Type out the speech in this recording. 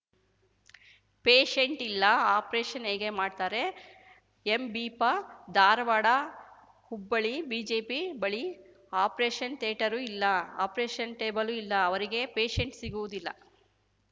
ಪೇಶೆಂಟೇ ಇಲ್ಲ ಆಪರೇಷನ್‌ ಹೇಗೆ ಮಾಡ್ತಾರೆ ಎಂಬಿಪಾ ಧಾರವಾಡಹುಬ್ಬಳ್ಳಿ ಬಿಜೆಪಿ ಬಳಿ ಆಪರೇಷನ್‌ ಥಿಯೇಟರೂ ಇಲ್ಲ ಆಪರೇಷನ್‌ ಟೇಬಲ್ಲೂ ಇಲ್ಲ ಅವರಿಗೆ ಪೇಶೆಂಟ್ ಸಿಗುವುದಿಲ್ಲ